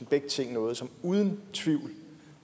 begge ting er noget som uden tvivl